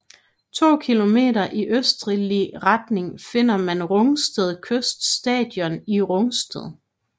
To kilometer i østlig retning finder man Rungsted Kyst Station i Rungsted